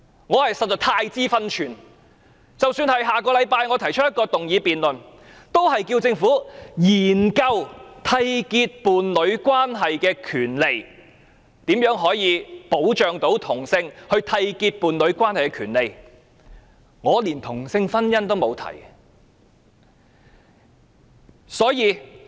我實在太知分寸，即使是下星期我提出一項動議辯論，亦只是要求政府研究締結伴侶關係的權利，如何保障同性締結伴侶關係的權利，我連同性婚姻都沒有提及。